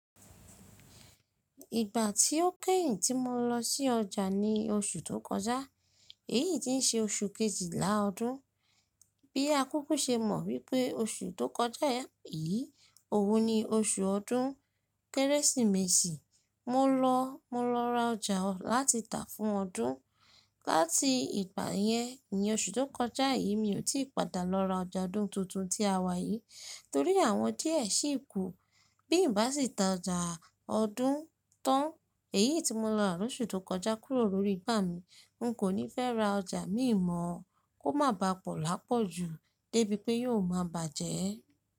Ìgbà tí ó kẹ́yìn tí mo lọ sí ọjà ni oṣù tó kọjá, èyí tí ń ṣe oṣù kejìlá ọdún. Bí a kúkú ṣe mọ̀ wípé oṣù tó kọjá yìí, òun ni oṣù ọdún kérésìmesì. Mo lọ, mo lọ ra ọjà láti tà fún ọdún. Láti ìgbà yẹn, ní oṣù tó kọjá yìí, mi ò tí padà lọ ra ọjà ọdún tuntun tí a wà yìí torí àwọn díẹ̀ sì kú. Bí n bá sì tà ọjà ọdún tán, èyí tí mo lọ ra lóṣù tó kọjá kúrò lórí ìgbà mi. N kò ní fẹ́ ra ọjà mí mọ̀ kó má ba pọ̀ lápọ̀jù débi pé yóò máa bàjẹ́.